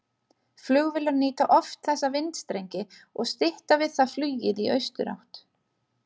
Flugvélar nýta oft þessa vindstrengi og stytta við það flugið í austurátt.